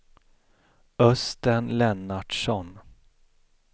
Östen Lennartsson